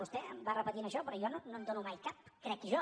vostè em va repetint això però jo no en dono mai cap crec jo